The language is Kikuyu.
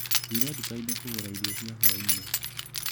Thire ndukainĩ kũgũra irio cia hwainĩ.